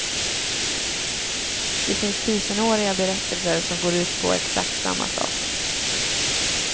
Det finns tusenåriga berättelser som går ut på exakt samma sak.